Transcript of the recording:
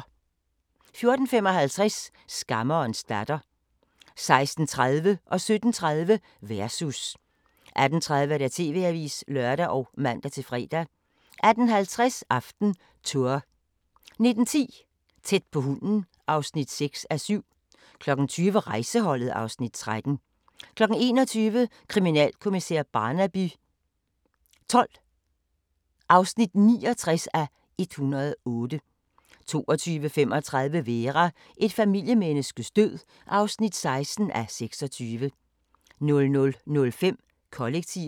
14:55: Skammerens datter 16:30: Versus 17:30: Versus 18:30: TV-avisen (lør og man-fre) 18:50: AftenTour 19:10: Tæt på hunden (6:7) 20:00: Rejseholdet (Afs. 13) 21:00: Kriminalkommissær Barnaby XII (69:108) 22:35: Vera: Et familiemenneskes død (16:26) 00:05: Kollektivet